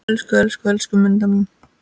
Elsku, elsku, elsku Munda mín.